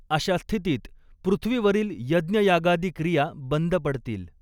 अशा स्थितीत पृथ्वीवरील यज्ञयागादी क्रिया बंद पडतील.